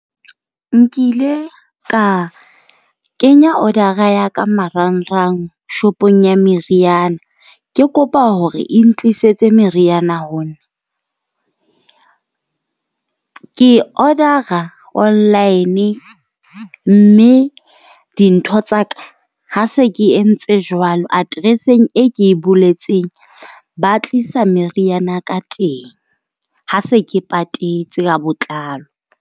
Nkile ka kenya order-a ya ka marangrang, shopong ya meriana. Ke kopa hore e ntlisetse meriana ho nna. Ke order-a online mme dintho tsa ka ha se ke entse jwalo, atereseng e ke boletseng, ba tlisa meriana ya ka teng. Ha se ke patetse ka botlalo.